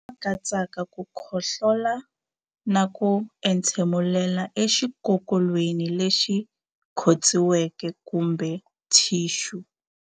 Lama katsaka ku khohlola na ku entshemulela exikokolweni lexi khotsiweke kumbe thixu.